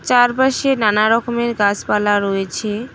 তার পাশে নানা রকমের গাসপালা রয়েছে।